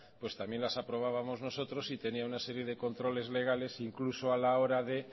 pues también las aprobábamos nosotros y tenía una serie de controles legales incluso a la hora de